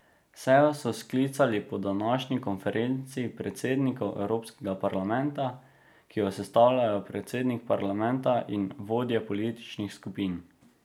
Sejo so sklicali po današnji konferenci predsednikov Evropskega parlamenta, ki jo sestavljajo predsednik parlamenta in vodje političnih skupin.